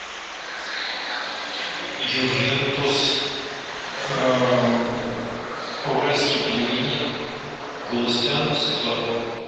ювентус уральские пельмени галустян светлаков